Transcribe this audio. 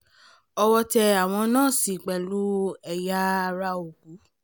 owó tẹ àwọn nọ́ọ̀sì pẹ̀lú ẹ̀yà ara òkú